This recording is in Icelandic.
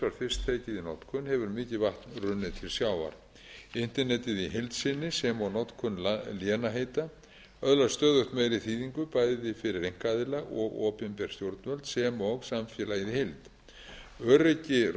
notkun hefur mikið vatn runnið til sjávar internetið í heild sinni sem og notkun lénaheita öðlast stöðugt meiri þýðingu bæði fyrir einkaaðila og opinber stjórnvöld sem og samfélagið